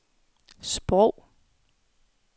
sprog